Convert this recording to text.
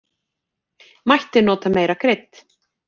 Mætti nota meira krydd.